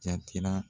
Jatira